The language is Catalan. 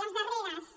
les darreres